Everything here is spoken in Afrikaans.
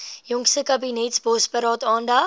jongste kabinetsbosberaad aandag